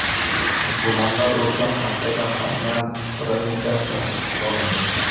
Gumondor o‘tgan haftada Xaynan provinsiyasida hibsga olindi.